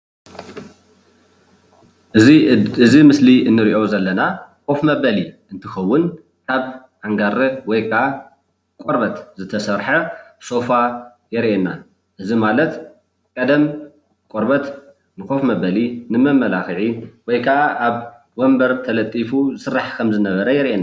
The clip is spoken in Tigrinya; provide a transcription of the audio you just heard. እዚ ምስሊ እንሪኦ ዘለና ኮፍ መበሊ እንትከውን ካብ ኣንጋረ ወይ ከዓ ቆርበት ዝተሰርሐ ሶፋ የርእየና ኣሎ፣ እዚ ማለት ቀደም ቆርበት ንኮፍ መበሊ ንመማላክዒ ወይ ከዓ ኣብ ወንበር ተለጢፉ ይስራሕ ከም ዝነበረ የርእየና፡፡